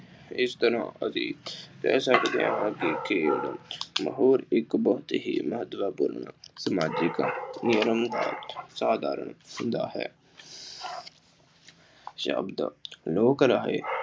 ਇਸ ਤਰ੍ਹਾਂ ਅਸੀ ਕਹਿ ਸਕਦੇ ਹਾਂ ਕਿ ਖੇਡ ਮਾਹੌ਼ਲ ਇੱਕ ਸਮਾਜਿਕ ਸਾਧਾਰਨ ਹੁੰਦਾ ਹੈ। ਸ਼ਬਦ- ਲੋਕ ਰਾਏ